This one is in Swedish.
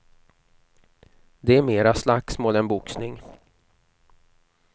Det är mera slagsmål än boxning.